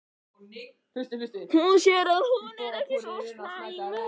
Hún sér að hún er ekki svo slæm.